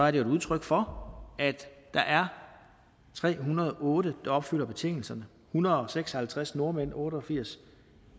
et udtryk for at der er tre hundrede og otte der opfylder betingelserne hundrede og seks og halvtreds nordmænd otte og firs